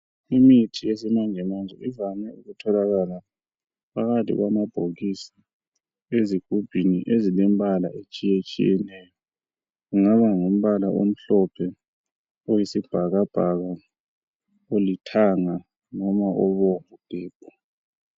Imithi yesimanjemanje ivame ukutholakala phakathi kwamabhokisi, ezigubhuni ezilembala etshiyetshiyeneyo ,kungaba ngumbala omhlophe, oyisibhakabhaka olithanga loba obomvu gebhu .